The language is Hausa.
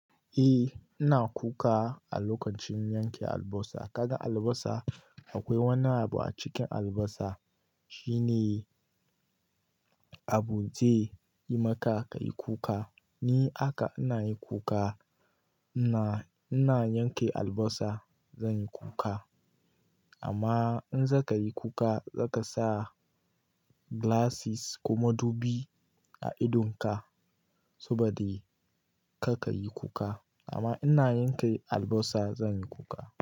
Eh ina kuka a lokacin yanke albosa. Kaga albasa akwai wani abu a cikin albasa shine abu zai yi maka kai kuka. Ni haka ina yi kuka, ina, ina yanke albasa zan yi kuka. Amma in zaka yi kuka zaka sa glasses ko madubi a idonka saboda karka yi kuka. Amma ina yanke albasa zan yi kuka.